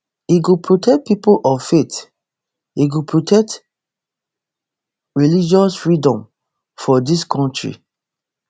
e go protect pipo of faith e go protect religious freedoms for dis kontri